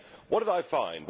What did I find?